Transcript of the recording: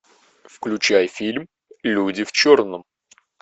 включай фильм люди в черном